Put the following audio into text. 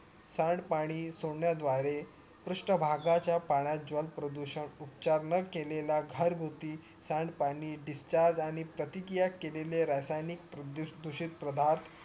सांड पाणी सोडण्याद्वारे पृष्ठभागाच्या पाण्यात जल प्रदूषण उपचार न केलेला घरगुती सांडपाणी discharge आणि प्रतिकिया केलेल्या रासायनिक प्रभूतहदूषित पदार्थ